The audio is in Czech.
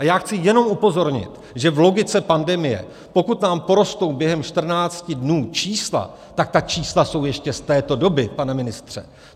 A já chci jenom upozornit, že v logice pandemie, pokud nám porostou během 14 dnů čísla, tak ta čísla jsou ještě z této doby, pane ministře.